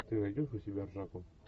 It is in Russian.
ты найдешь у себя ржаку